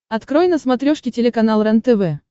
открой на смотрешке телеканал рентв